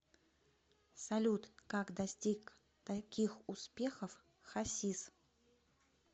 салют как достиг таких успехов хасис